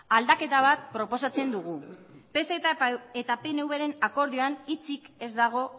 aldaketa bat proposatzen dugu pse eta pnvren akordioan hitzik ez dago